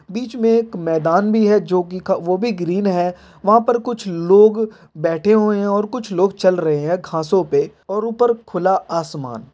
बिच में एक मैदान भी है जो की वो भी ग्रीन है | वहा पर कुछ लोग बैठे हुए हैं और कुछ लोग चल रहे है घासो पे और उपर खुला आसमान--